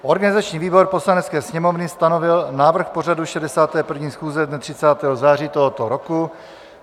Organizační výbor Poslanecké sněmovny stanovil návrh pořadu 61. schůze dne 30. září tohoto roku.